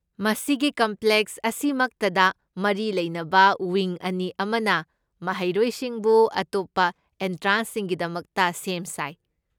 ꯃꯁꯤꯒꯤ ꯀꯝꯄ꯭ꯂꯦꯛꯁ ꯑꯁꯤꯃꯛꯇꯗ ꯃꯔꯤ ꯂꯩꯅꯕ ꯋꯤꯡ ꯑꯅꯤ ꯑꯃꯅ ꯃꯍꯩꯔꯣꯏꯁꯤꯡꯕꯨ ꯑꯇꯣꯞꯄ ꯑꯦꯟꯇ꯭ꯔꯦꯟꯁꯁꯤꯡꯒꯤꯗꯃꯛꯇ ꯁꯦꯝ ꯁꯥꯏ꯫